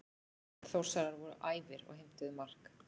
Þórsarar voru æfir og heimtuðu mark.